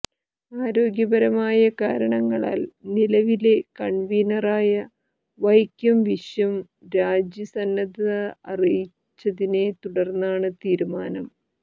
ആരോഗ്യപരമായ കരണങ്ങളാൽ നിലവിലെ കൺവീനറായ വൈക്കം വിശ്വൻ രാജി സന്നദ്ധത അറിയിച്ചതിനെ തുടർന്നാണ് തീരുമാനം